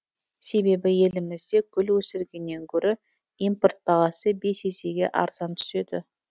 себебі елімізде гүл өсіргеннен гөрі импорт бағасы бес есеге арзан түседі